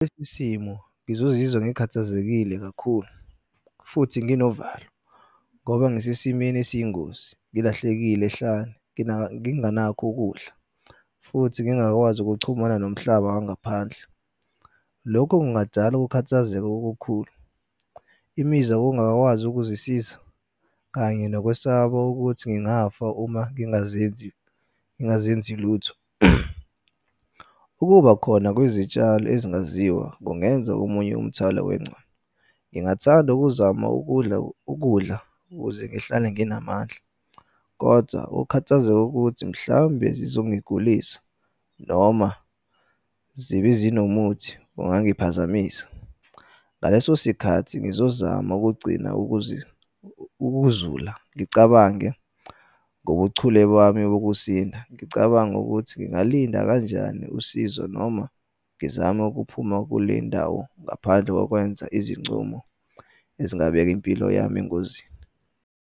Isimo ngizozizwa ngikhathazekile kakhulu, futhi nginovalo, ngoba ngisesimeni esiyingozi, ngilahlekile ehlane, nginganakho ukudla, futhi ngingakwazi ukuchumana nomhlaba wangaphandle. Lokho kungadala ukukhathazeka okukhulu, imizwa yokungakwazi ukuzisiza, kanye nokwesaba ukuthi ngingafa uma ngingazenzi, ngingazenzi lutho. Ukuba khona kwezitshalo ezingaziwa kungenza omunye umthwalo . Ngingathanda ukuzama ukudla ukudla, ukuze ngihlale nginamandla, kodwa ukukhathazeka ukuthi mhlawumbe zizongigulisa noma zibe zinomuthi ongangiphazamisa. Ngaleso sikhathi ngizozama ukugcina ukuzula ngicabange ngobuchule bami bokusina. Ngicabange ukuthi ngingalinda kanjani usizo noma ngizame ukuphuma kule ndawo ngaphandle kokwenza izincumo ezingabeka impilo yami engozini.